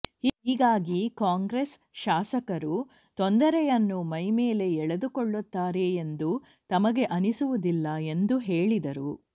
ಹೀಗಾಗಿ ಕಾಂಗ್ರೆಸ್ ಶಾಸಕರು ತೊಂದರೆಯನ್ನು ಮೈಮೇಲೆ ಎಳೆದುಕೊಳ್ಳುತ್ತಾರೆ ಎಂದು ತಮಗೆ ಅನಿಸುವುದಿಲ್ಲ ಎಂದು ಹೇಳಿದರು